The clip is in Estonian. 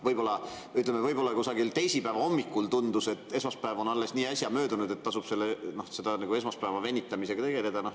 Võib-olla kusagil teisipäeva hommikul tundus, et esmaspäev on alles nii äsja möödunud, et tasub esmaspäeva venitamisega tegeleda.